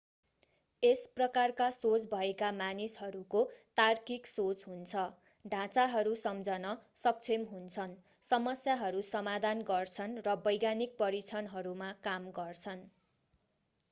यस प्रकारका सोच भएका मानिसहरूको तार्किक सोच हुन्छ ढाँचाहरू सम्झन सक्षम हुन्छन् समस्याहरू समाधान गर्छन् र वैज्ञानिक परीक्षणहरूमा काम गर्छन्